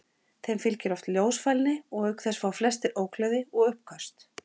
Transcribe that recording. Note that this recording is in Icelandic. Þeim fylgir oft ljósfælni og auk þess fá flestir ógleði og uppköst.